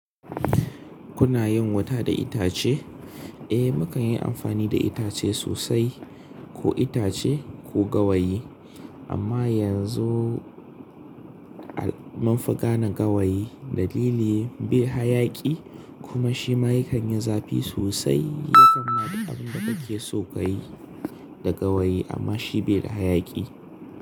Kuna yin wuta da itace? Eh, mu kan yi amfani da itace sosai ko itace ko gawayi. Amma yanzu al mun fi gane gawayi dalili bai hayaki kuma shi ma yakan yi zafi sosai ya kamma duk abin da kake so kayi da gawayi amma shi be da hayaki.